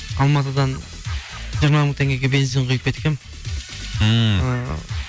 алматыдан жиырма мың теңгеге бензин құйып кеткенмін ммм